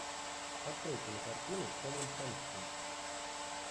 открой кинокартину с томом хэнксом